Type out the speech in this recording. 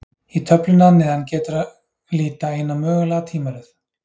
Í töflunni að neðan getur að líta eina mögulega tímaröð.